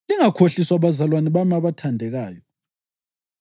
Lingakhohliswa bazalwane bami abathandekayo.